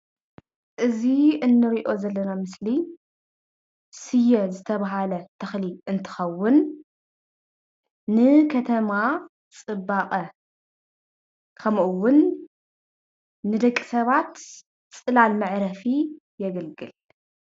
እዚ እንሪኦ ዘለና ምስሊ ስየ ዝተብሃለ ተክሊ እንትከውን ንከተማ ፅባቀ፣ ከምኡውን ንደቂ ሰባት ፅላል መዕረፊ የገልግል፡፡